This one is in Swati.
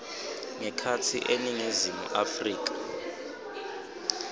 ngekhatsi eningizimu afrika